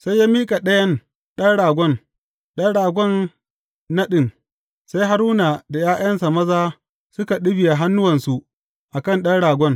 Sai ya miƙa ɗayan ɗan ragon, ɗan ragon naɗin, sai Haruna da ’ya’yansa maza suka ɗibiya hannuwansu a kan ɗan ragon.